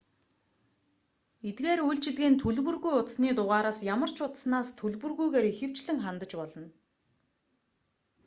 эдгээр үйлчилгээнд төлбөргүй утасны дугаараас ямар ч утаснаас төлбөргүйгээр ихэвчлэн хандаж болно